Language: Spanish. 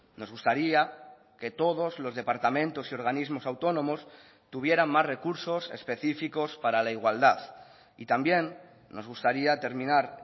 nos gustaría que todos los departamentos y organismos autónomos tuvieran más recursos específicos para la igualdad y también nos gustaría terminar